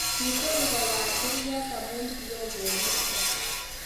kitur kuyat kurget amu kioo koristo